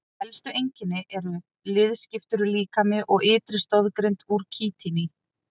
Helstu einkenni eru liðskiptur líkami og ytri stoðgrind úr kítíni.